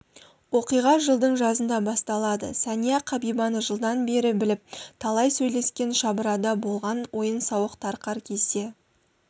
оқиға жылдың жазында басталады сәния қабибаны жылдан бері біліп талай сөйлескен шабырада болған ойын-сауық тарқар кезде